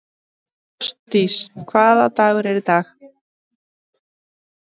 Ástdís, hvaða dagur er í dag?